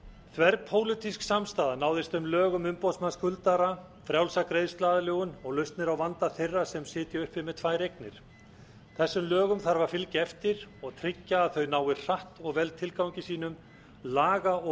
þverpólitísk samstaða náðist um lög um umboðsmann skuldara frjálsa greiðsluaðlögun og lausnir á vanda þeirra sem sitja uppi með tvær eignir þessum lögum þarf að fylgja eftir og tryggja að þau nái hratt og vel tilgangi sínum laga og